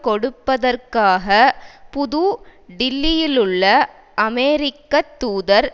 கொடுப்பதற்காக புது டில்லியிலுள்ள அமெரிக்க தூதர்